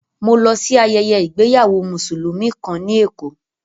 Mo lọ sí ayẹyẹ ìgbéyàwó Mùsùlùmí kàn ní Èkó.